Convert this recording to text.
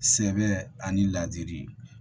Sɛbɛ ani ladiri